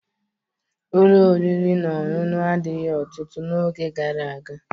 Ụlọ oriri na ọṅụṅụ adịghị ọtụtụ n'oge gara aga